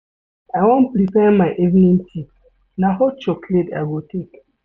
I wan prepare my evening tea, na hot chocolate I go take.